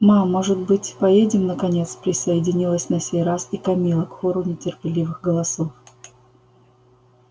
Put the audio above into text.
мам может быть поедем наконец присоединилась на сей раз и камилла к хору нетерпеливых голосов